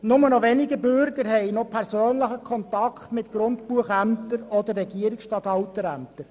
Nur noch wenige Bürger haben persönlichen Kontakt mit Grundbuchämtern oder Regierungsstatthalterämtern.